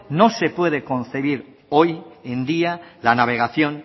no se puede concebir hoy en día la navegación